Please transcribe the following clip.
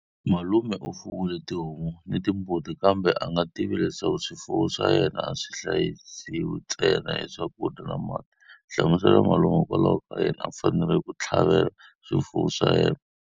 Malume u fuwile tihomu ni timbuti kambe a nga tivi leswaku swifuwo swa yena a swi hlayisiwi ntsena hi swakudya ni mati. Hlamusela malume hikokwalaho ka yini a fanerile ku tlhavela swifuwo swa yena.